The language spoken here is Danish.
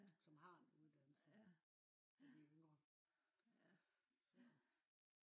som har en uddannelse af de yngre